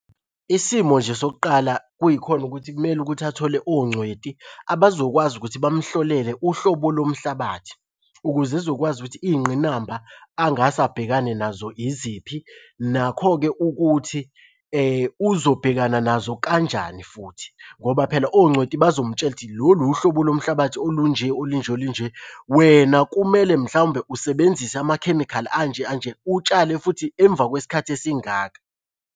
Isimo nje sokuqala kuyikhona ukuthi kumele ukuthi athole ongcweti abazokwazi ukuthi bamuhlolele uhlobo lomhlabathi ukuze ezokwazi ukuthi iy'ngqinamba angase abhekane nazo iziphi. Nakho-ke ukuthi uzobhekana nazo kanjani futhi ngoba phela ongcweti bazomtshela ukuthi lolu uhlobo lomhlabathi olunje, olunje olunje. Wena kumele mhlawumbe usebenzise amakhemikhali anje anje, utshale futhi emva kwesikhathi esingaka.